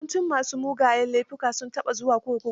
Yawancin ma su mugayen laifuka, sun taba zuwa kurkuku.